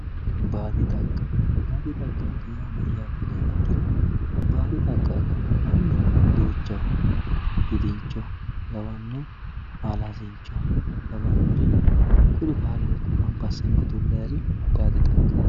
Baadi xagga, baadi xaggati yaa mayate yiniha ikkiro baadi xagga agano manni duuchaho, gidincho lawanori alasincho lawanori kuri baalunkuni gamba asine udu'laniri baadi xaggatti